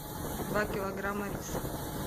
два килограмма риса